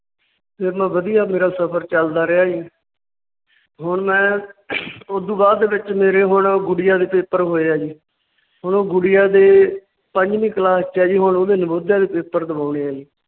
ਫਿਰ ਮੈਂ ਵਧੀਆ ਮੇਰਾ ਸਫਰ ਚਲਦਾ ਰਿਹਾ ਸੀ। ਹੁਣ ਮੈਂ ਉਸ ਤੋਂ ਬਾਅਦ ਦੇ ਵਿੱਚ ਮੇਰੀ ਕੋਲ ਗੁਡੀਆਂ ਦੇ Paper ਹੋਏ ਹੈ ਜੀ। ਹੁਣ ਗੁਡੀਆਂ ਦੇ ਪੰਜਵੀ Class ਚ ਹੈ ਜੀ ਹੁਣ ਉਹਦੇ ਨਵੋਦਿਆ ਦੇ Paper ਦਵਾਉਂਣੇ ਹੈ ਜੀ ।